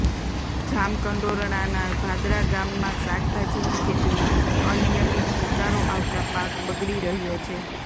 જામકંડોરણાના ભાદરા ગામમાં શાકભાજીની ખેતીમાં અનિયમિત ઉતારો આવતા પાક બગડી રહ્યો છે